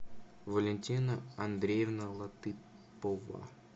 валентина андреевна латыпова